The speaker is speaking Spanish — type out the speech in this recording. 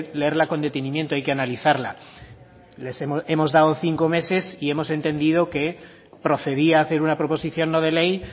leerla con detenimiento hay que analizarla les hemos dado cinco meses y hemos entendido que procedía a hacer una proposición no de ley